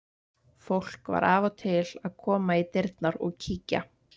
Fólk var af og til að koma í dyrnar og kíkja.